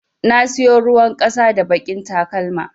Na siyo ruwan ƙasa da baƙin talakma.